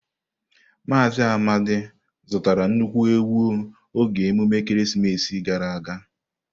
Mazị Amadi zụtara nnukwu ewu oge emume ekeresimesi gara aga.